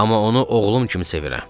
Amma onu oğlum kimi sevirəm.